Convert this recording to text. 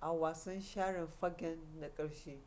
a wasan share fagen na ƙarshe